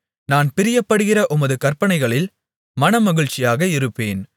நான் பிரியப்படுகிற உமது கற்பனைகளில் மனமகிழ்ச்சியாக இருப்பேன்